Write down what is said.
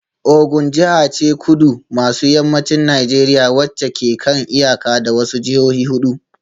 Ogun jiha ce a kudu maso yammacin Najeriya wacce ke kan iyaka da wasu jihohi hudu